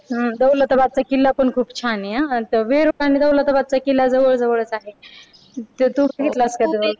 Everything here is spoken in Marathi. हम्म दौलताबादचा किल्ला पण खूप छान आहे हा वीर माणगावला किल्ला जवळ जवळच आहे ते तूच घेतलास का